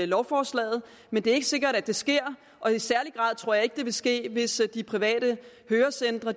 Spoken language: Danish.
lovforslaget men det er ikke sikkert at det sker og i særlig grad tror jeg ikke det vil ske hvis de private hørecentre